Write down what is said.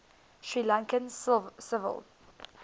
sri lankan civil